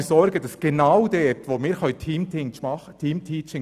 Liebe Kolleginnen und Kollegen, bei den Kleinsten dürfen wir nicht sparen.